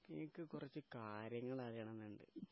എനിക്ക് കുറച്ചു കാര്യങ്ങൾ അറിയണമെന്നുണ്ട്...